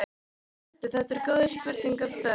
Sæll vertu, þetta eru góð spurning og þörf.